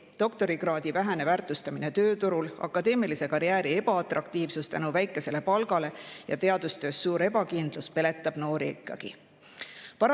Doktorikraadi vähene väärtustamine tööturul, akadeemilise karjääri ebaatraktiivsus väikese palga tõttu ja teadustöö suur ebakindlus peletab noori ikkagi.